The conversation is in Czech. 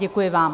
Děkuji vám.